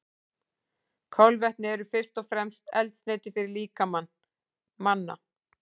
Kolvetni eru fyrst og fremst eldsneyti fyrir líkama manna.